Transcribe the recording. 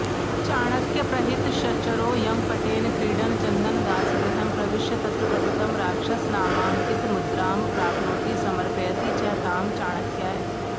चाणक्यप्रहितश्चरो यमपटेन क्रीडन् चन्दनदासगृहं प्रविश्य तत्र पतितं राक्षसनामाङ्कितमुद्रां प्राप्नोति समर्पयति च तां चाणक्याय